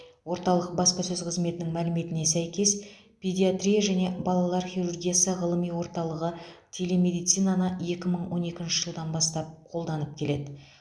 орталық баспасөз қызметінің мәліметіне сәйкес педиатрия және балалар хирургиясы ғылыми орталығы телемедицинаны екі мың он екінші жылдан бастап қолданып келеді